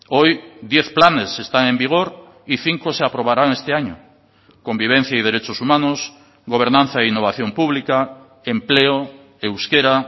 hoy diez planes están en vigor y cinco se aprobarán este año convivencia y derechos humanos gobernanza e innovación pública empleo euskera